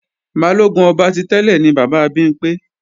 Balógun ọba ti tẹ́lẹ̀ ni bàbá Bimpé